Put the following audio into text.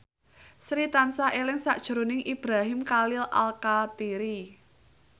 Sri tansah eling sakjroning Ibrahim Khalil Alkatiri